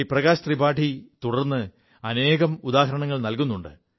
പ്രകാശ് ത്രിപാഠി തുടർ് അനേകം ഉദാഹരണങ്ങൾ നല്കുുണ്ട്